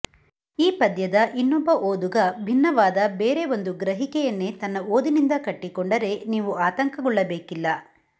ಈ ಪದ್ಯದ ಇನ್ನೊಬ್ಬ ಓದುಗ ಭಿನ್ನವಾದ ಬೇರೆ ಒಂದು ಗ್ರಹಿಕೆಯನ್ನೇ ತನ್ನ ಓದಿನಿಂದ ಕಟ್ಟಿಕೊಂಡರೆ ನೀವು ಆತಂಕಗೊಳ್ಳಬೇಕಿಲ್ಲ